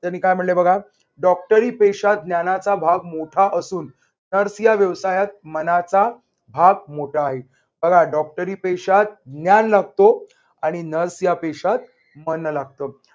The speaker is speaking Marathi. त्यांनी काय म्हणले बघा डॉक्टरी पेशात ज्ञानाचा भाग मोठा असून nurse या व्यवसायात मनाचा भाग मोठा आहे. बघा डॉक्टरी पेशात ज्ञान लागतो आणि nurse या पेशात मन लागत.